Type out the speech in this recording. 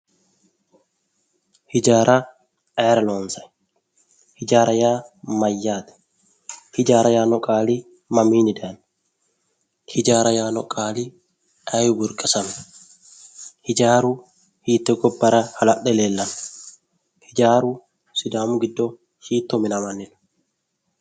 Hijaara ayira loonsanni? Hijaara yaa mayyaate? Hijaara yaanno qaali mamiinni dayino? Hijaara ayi? Hijaaru hiitte gobbara hala'le leellanno? Hijaaru sidaamu giddo hiitto manamanni no?